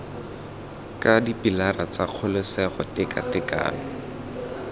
ka dipilara tsa kgololesego tekatekano